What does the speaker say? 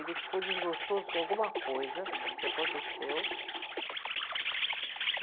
Ele ficou desgostoso com alguma coisa que aconteceu.